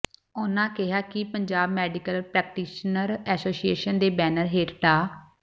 ਉਹਨਾਂ ਕਿਹਾ ਕਿ ਪੰਜਾਬ ਮੈਡੀਕਲ ਪ੍ਰੈਕਟੀਸ਼ਨਰ ਐਸ਼ੋਸੀਏਸ਼ਨ ਦੇ ਬੈਨਰ ਹੇਠ ਡਾ